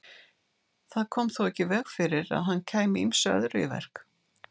Það kom þó ekki í veg fyrir að hann kæmi ýmsu öðru í verk.